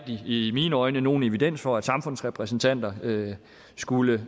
i mine øjne nogen evidens for at samfundsrepræsentanter skulle